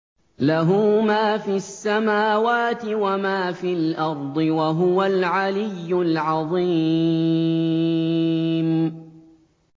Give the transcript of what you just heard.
لَهُ مَا فِي السَّمَاوَاتِ وَمَا فِي الْأَرْضِ ۖ وَهُوَ الْعَلِيُّ الْعَظِيمُ